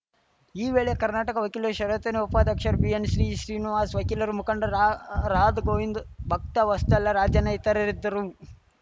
ಈ ವೇಳೆ ಕರ್ನಾಟಕ ವಕೀಲರ ಪರಿಷತ್ತಿನ ಉಪಾಧ್ಯಕ್ಷ ಬಿಎನ್ ಶ್ರೀ ಶ್ರೀನಿವಾಸ್‌ ವಕೀಲರ ಮುಖಂಡ ರಾ ರಾದ್ ಗೋವಿಂದ್ ಭಕ್ತವಸ್ತಲ ರಾಜಣ್ಣ ಇತರರಿದ್ದರು